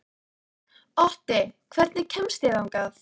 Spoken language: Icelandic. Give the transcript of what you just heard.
Otti, hvernig kemst ég þangað?